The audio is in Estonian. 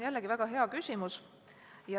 Jälle väga hea küsimus.